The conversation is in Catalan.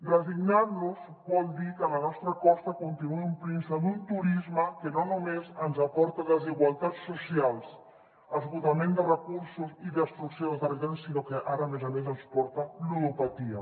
resignar nos vol dir que la nostra costa continuï omplint se d’un turisme que no només ens aporta desigualtats socials esgotament de recursos i destrucció del territori sinó que ara a més a més ens porta ludopatia